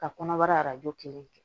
Ka kɔnɔbara kelen kɛ